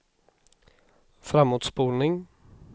framåtspolning